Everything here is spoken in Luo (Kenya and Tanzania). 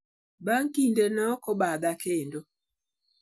"Bang' kinde, nokobadha kendo.